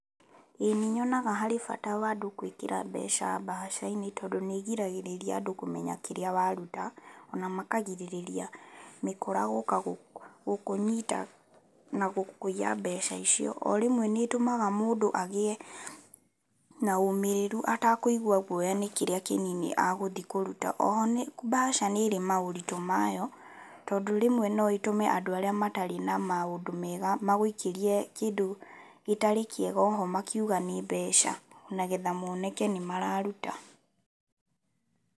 Ii nĩ nyonaga harĩ bata wa andũ gwĩkĩra mbeca bahaca-inĩ tondũ nĩĩgiragĩrĩria andũ kumenya kĩrĩa waruta, na makagirĩrĩria mĩkora gũka gũkũnyita na gũkũiya mbeca icio. Orĩmwe nĩitũmaga mũndũ agĩe na ũmĩriru atakũigwa guoya nĩ kĩrĩa kinini egũthiĩ kũruta. Oho no bahaca nĩirĩ maũritu mayo tondũ rĩmwe no ĩtũme andũ arĩa amatarĩ na maũndũ mega magũikĩrie kĩndũ gĩtarĩ kĩega oho makiuga nĩ mbeca nĩgetha moneke nĩmararuta.